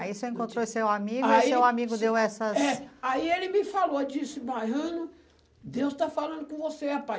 Aí você encontrou seu amigo e seu amigo deu essas... É. Aí ele me falou, disse, Mariano, Deus está falando com você, rapaz.